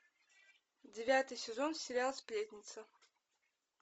девятый сезон сериал сплетница